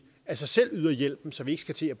af sig selv yder hjælpen så vi ikke skal til at